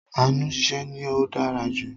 Ànu ṣiṣẹ́ ni ó dára jù